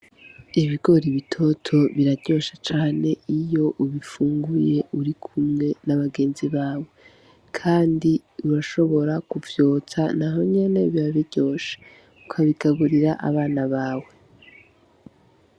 Ibigori bitoto biraryoshe cane iyo ubifunguye uri kumwe n'abagenzi bawe kandi urashobora ku vyotsa nahonyene biba biryoshe ukabigaburira abana bawe.